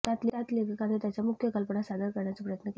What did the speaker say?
त्यात लेखकाने त्याच्या मुख्य कल्पना सादर करण्याचा प्रयत्न केला